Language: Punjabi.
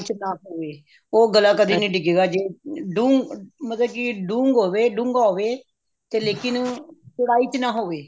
ਨਾ ਹੋਵੇ ਉਹ ਗਲਾ ਕਦੇ ਨੀ ਡਿੱਗੂਗਾ ਦੁ ਮਤਲਬ ਜੇ ਦੁੰਗ ਹੋਵੇ ਡੂੰਘਾ ਹੋਵੇ ਤੇ ਲੇਕਿਨ ਚੋੜਾਈ ਚ ਨਾ ਹੋਵੇ